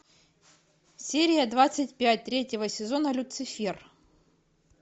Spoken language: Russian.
серия двадцать пять третьего сезона люцифер